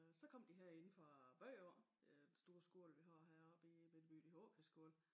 Øh så kom de her inde fra byen af den store skole vi har heroppe i midtbyen i Aakjærskolen